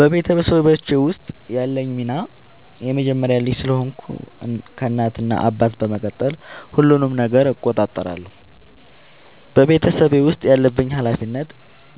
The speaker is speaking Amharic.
በቤተሰቦቼ ውስጥ ያለኝ ሚና የመጀመሪያ ልጅ ስለሆንኩ ከእናት እና አባቴ በመቀጠል ሁሉንም ነገር እቆጣጠራለሁ። በቤተሰቤ ውስጥ ያለብኝ ኃላፊነት